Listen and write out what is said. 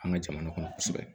An ka jamana kɔnɔ kosɛbɛ